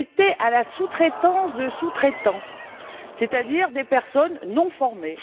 C'était dû à la sous traitance de sous traitants, c'est à dire des personnes non formées.